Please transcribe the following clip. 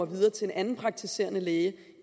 videre til en anden praktiserende læge